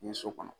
Ni so kɔnɔ